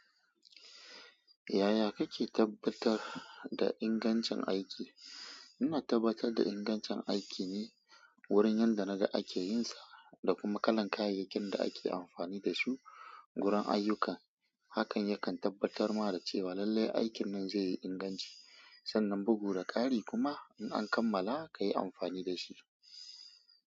Yaya kake tabbatar da ingancin aiki? Ina tabbatar da ingancin aiki ne wurin yadda na ga ake yin sa da kuma kalan kayayyakin da ake amfani da su guran ayyuka. Hakan yakan tabbatar mana da cewa lallai aikin nan zai yi inganci sannan bugu da ƙari kuma in an kammala ka yi amfani da shi.